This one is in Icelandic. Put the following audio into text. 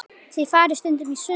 Þið farið stundum í sund.